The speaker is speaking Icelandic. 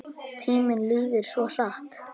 Tíminn líður svo hratt!